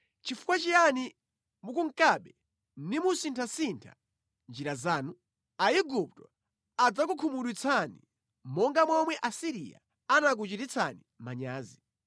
Chifukwa chiyani mukunkabe nimusinthasintha njira zanu? Aigupto adzakukhumudwitsani monga momwe Asiriya anakuchititsani manyazi.